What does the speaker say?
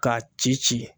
K'a ci ci